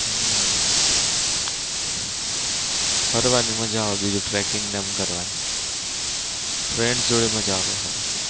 હમ ફરવા ની મજા આવે બીજું tracking ને એમ કરવાની friends જોડે મજા આવે ખાલી. હમ